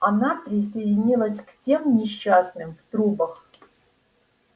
она присоединилась к тем несчастным в трубах